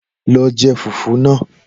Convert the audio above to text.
Lọ je fùfú náà!